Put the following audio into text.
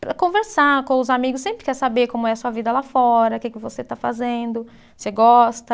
para conversar com os amigos, sempre quer saber como é a sua vida lá fora, o que que você está fazendo, você gosta.